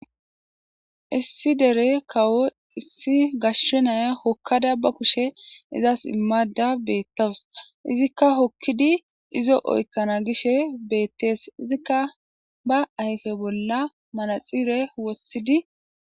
Issi dere kawo issi gashshe naya hokkada ba kushe izas immada beettawus izikka hokkidi izo oykkana gishe beettees izikka ba ayfe bolla manaxire wothidi.